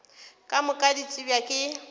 ka moka di tsebja ke